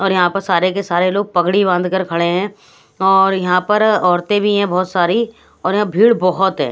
और यहाँ पर सारे के सारे लोग पगड़ी बांध कर खड़े हैं और यहाँ पर औरतें भी हैं बहुत सारी और यहाँ भीड़ बहुत है।